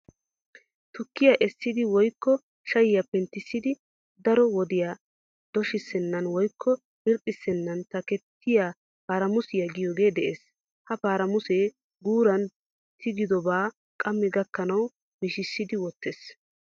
Tukkiya essidi woykko shayiya penttissidi darro wodiya doshissennan woykko irxxissennan takkettiya paramusiya giyogee de'ees. Ha paramusee guuran tigidobaa qammi gakkanawu mishissiiddi wottees.